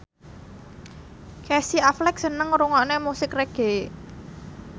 Casey Affleck seneng ngrungokne musik reggae